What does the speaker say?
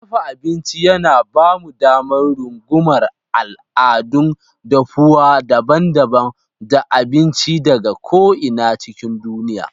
Dafa abinci yana ba mu damar rungumar al'adun dafuwa daban-daban da abinci daga ko'ina cikin duniya.